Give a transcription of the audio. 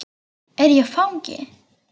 Er ég fangi?